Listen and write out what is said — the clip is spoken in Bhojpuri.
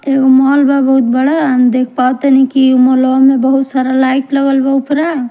एगो माल बा बहुत बड़ा हम देख पावत तनी उ मल वा में बहुत सारा लाइट लागल बा बहुत सरा--